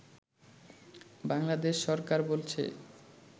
বাংলাদেশ সরকার বলছে